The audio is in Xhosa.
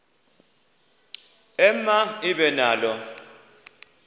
ema ibe nalo